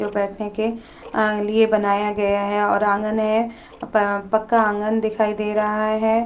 जो बैठने के लिए बनाया गया है और आंगन है। पक्का आंगन दिखाई दे रहा है।